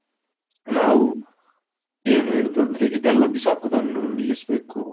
ನಾವು ಏನು ಹೇಳುದು ಅಂದ್ರೆ ಇದೆಲ್ಲ ಬಿಸಾಕುದನ್ನು ನಿಲಿಸ್ಬೇಕು.